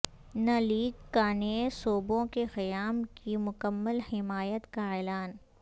ن لیگ کا نئے صوبوں کے قیام کی مکمل حمایت کا اعلان